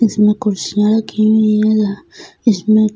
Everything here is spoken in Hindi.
इसमें कुर्सिया राखी हुई हैं ह इसमें--